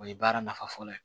O ye baara nafa fɔlɔ ye